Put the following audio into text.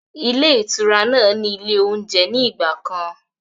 Ilé ìtura náà ni ilé oúnjẹ ní ìgbàkan.